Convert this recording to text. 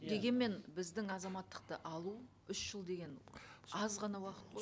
дегенмен біздің азаматтықты алу үш жыл деген аз ғана уақыт қой